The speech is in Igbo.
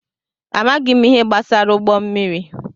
Amaghị m ihe gbasara ụgbọ mmiri.